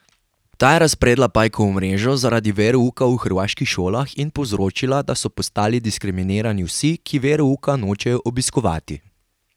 Ta je razpredla pajkovo mrežo zaradi verouka v hrvaških šolah in povzročila, da so postali diskriminirani vsi, ki verouka nočejo obiskovati.